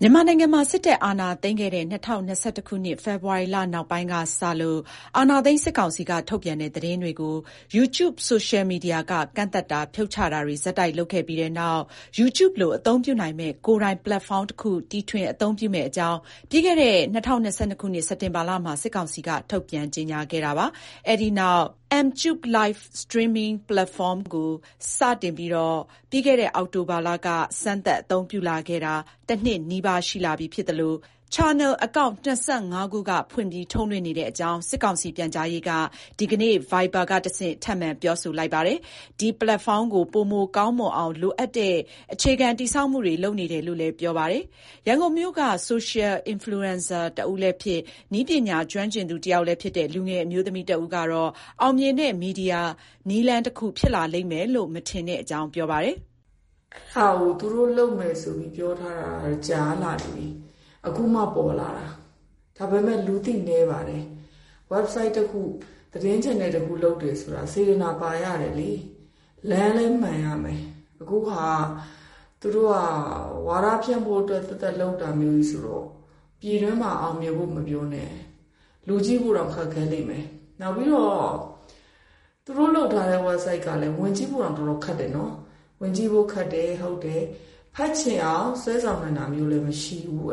မြန်မာနိုင်ငံမှာ စစ်တပ်အာဏာသိမ်းခဲ့တဲ့ ၂၀၂၁ ခုနှစ် ဖေဖော်ဝါရီလ နောက်ပိုင်းကစလို့ အာဏာသိမ်း စစ်ကောင်စီက ထုတ်ပြန်တဲ့ သတင်းတွေကို YouTube ဆိုရှယ်မီဒီယာက ကန့်သတ်တာ၊ ဖြုတ်ချတာတွေ ဆက်တိုက် လုပ်ခဲ့ပြီးတဲ့နောက် Youtube လို အသုံးပြုနိုင်မယ့် ကိုယ်ပိုင် ပလက်ဖောင်းတခု တီထွင် အသုံးပြုမယ့်အကြောင်း ပြီးခဲ့တဲ့ ၂၀၂၂ ခုနှစ် စက်တင်ဘာလမှာ စစ်ကောင်စီဘက်က ထုတ်ပြန် ကြေညာခဲ့တာပါ။ အဲ့ဒီနောက် Mtube Live Streaming Platform ကို စတင် ပြီးခဲ့တဲ့ အောက်တိုဘာလက စပြီး စမ်းသပ် အသုံးပြုလာခဲ့တာ တနှစ်နီးပါး ရှိလာပြီ ဖြစ်သလို channel အကောင့် ၂၅ ခုဖွင့်ပြီး ထုတ်လွှင့်နေတဲ့အကြောင်း စစ်ကောင်စီ ပြန်ကြားရေးက ဒီကနေ့ Viber ကတဆင့် ထပ်မံ ပြောဆိုလိုက်တာပါ။ ဒီ ပလက်ဖောင်းကို ပိုမို ကောင်းမွန်အောင် လိုအပ်တဲ့ အခြေခံ တည်ဆောက်မှုတွေ လုပ်နေတယ်လို့ လည်း ပြောပါတယ်။ ရန်ကုန်မြို့က Social Influencer တဦးလည်းဖြစ်၊ နည်းပညာ ကျွမ်းကျင်သူတယောက်လည်းဖြစ်တဲ့ လူငယ် အမျိုးသမီးတဦးကတော့ အောင်မြင်တဲ့ မီဒီယာနည်းလမ်းတခု ဖြစ်လာလိမ့်မယ်လို့ မထင်တဲ့အကြောင်း ပြောပါတယ်။ "သူတို့လုပ်မယ်ဆိုတာ ပြောထားတာကြာပြီ။ ခု ပေါ်လာတာ။ ဒါပေမဲ့ လူသိနည်းတယ်။ ဝဒ်ဆိုက် တခုသတင်း ချယ်နယ်တခု လုပ်တာ စေတနာပါရတယ်။ လမ်းမှန်ရတယ်။ ခုက သူတို့ ဝါဒဖြန့်ဖို့ အတွက် လုပ်တာဆိုတော့ ပြည်တွင်းမှာ အောင်မြင်ဖို့ မပြောနဲ့ လူကြည့်ဖို့တောင် ခက်ခဲမယ်။ နောက်သူတို့လုပ်ထားတဲ့ဝက်ဒ်ဆိုဒ်ကလည်း ဝင်ကြည့်ဖို့တောင် ခက်တယ်။ ဖတ်ချင်အောင်ဆွဲဆောင်နိုင်တာမျိုးလဲ မရှိဘူး။"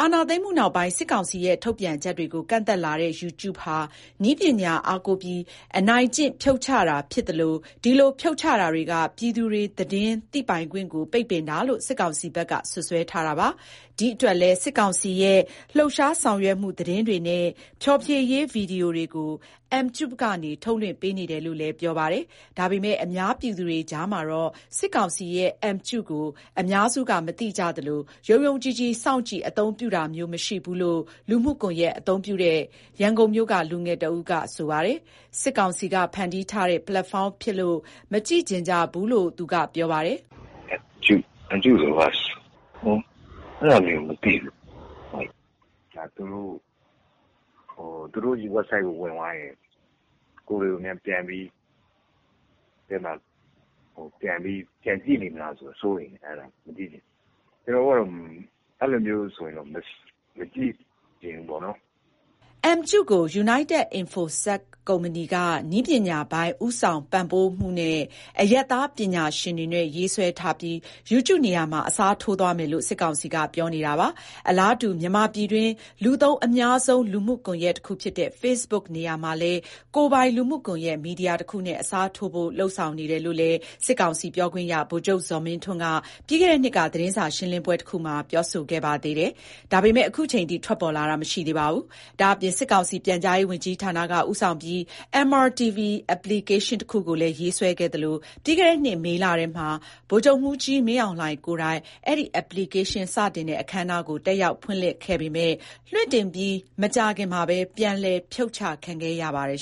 အာဏာသိမ်းမှုနောက်ပိုင်း စစ်ကောင်စီရဲ့ ထုတ်ပြန်ချက်တွေကို ကန့်သတ်လာတဲ့ YouTube ဟာ နည်းပညာအားကိုးပြီး အနိုင်ကျင့် ဖြုတ်ချတာ ဖြစ်သလို ဒီလို ဖြုတ်ချတာတွေက ပြည်သူတွေ သတင်းသိပိုင်ခွင့်ကို ပိတ်ပင်တာလို့ စစ်ကောင်စီဘက်က စွပ်စွဲထားတာပါ။ ဒီအတွက်လည်း စစ်ကောင်စီရဲ့ လှုပ်ရှားဆောင်ရွက်မှု သတင်းတွေနဲ့ ဖျော်ဖြေရေး ဗီဒီယိုတွေကို Mtube ကနေ ထုတ်လွှင့်ပေးနေတယ်လို့လည်း ပြောဆိုပါတယ်။ ဒါပေမဲ့ အများပြည်သူတွေကြားမှာတော့ စစ်ကောင်စီရဲ့ Mtube ကို အများစုက မသိကြသလို၊ ယုံယုံကြည်ကြည် စောင့်ကြည့် အသုံးပြုတာမျိုး မရှိဘူးလို့ လူမှုကွန်ရက် အသုံးပြုတဲ့ ရန်ကုန်မြို့က လူငယ်တဦးက ပြောပါတယ်။ စစ်ကောင်စီက ဖန်တီးထားတဲ့ ပလက်ဖောင်းဖြစ်လို့ မကြည့်ချင်ကြဘူးလို့ သူက ပြောပါတယ်။ "Mtube ဆိုတာ ဘာကြီးလဲ။ အဲဒါမျိုးကို မသိဘူး။ လုပ်လာရင်လဲ သူတို့ဝက်ဆိုဒ်ထဲ ဝင်ရင် သူတို့က ကိုယ်တွေကို မှတ်ပြီး ပြန်စောင့်ကြည့်နေမလား ဆိုတာ စိတ်ပူတယ်။ မကြည့်ချင်ဘူး။ ကျနော်တို့ အဲလိုဆိုတော့ မကြည့်ချင်ဘူး။" Mtube ကို United Info-Sec ကုမ္ပဏီက နည်းပညာပိုင်း ဦးဆောင်ပံ့ပိုးမှုနဲ့ အရပ်သား ပညာရှင်တွေနဲ့ ရေးဆွဲထားပြီး Youtube နေရာမှာ အစားထိုးသွားမယ်လို့ စစ်ကောင်စီကတော့ ပြောနေတာပါ။ အလားတူ မြန်မာပြည်တွင်း လူသုံးအများဆုံး လူမှုကွန်ရက် တခုဖြစ်တဲ့ Facebook နေရာမှာလည်း ကိုယ်ပိုင် လူမှုကွန်ရက် မီဒီယာတခုနဲ့ အစားထိုးဖို့ လုပ်ဆောင်နေတယ်လို့လည်း စစ်ကောင်စီ ပြောခွင့်ရ ဗိုလ်ချုပ် ဇော်မင်းထွန်းက ပြီးခဲ့တဲ့နှစ်က သတင်းစာရှင်းလင်းပွဲတခုမှာ ပြောဆိုခဲ့ပါသေးတယ်။ ဒါပေမဲ့ ခုချိန်ထိတော့ ထွက်ပေါ်လာတာ မရှိသေးပါဘူး။ ဒါ့အပြင် စစ်ကောင်စီ ပြန်ကြားရေးဝန်ကြီးဌာနက ဦးဆောင်ပြီး MRTV Application တခုကိုလည်း ရေးဆွဲခဲ့သလို၊ ပြီးခဲ့တဲ့နှစ် မေလထဲမှာ ဗိုလ်ချုပ်မှူးကြီး မင်းအောင်လှိုင် ကိုယ်တိုင် ဒီ application စတင်တဲ့ အခမ်းအနားကို တက်ရောက် ဖွင့်လှစ်ခဲ့ပေမယ့် လွှင့်တင်ပြီး မကြာမီမှာပဲ ပြန်လည် ဖြုတ်ချခံခဲ့ရပါတယ်